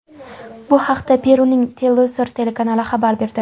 Bu haqda Peruning Telesur telekanali xabar berdi.